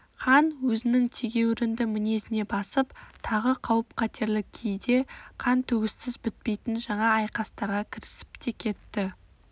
хан өзінің тегеурінді мінезіне басып тағы қауіп-қатерлі кейде қан төгіссіз бітпейтін жаңа айқастарға кірісіп те кетті